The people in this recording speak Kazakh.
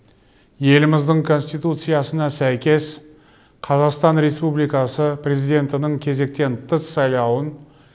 еліміздің конституциясына сәйкес қазақстан республикасы президентінің кезектен тыс сайлауын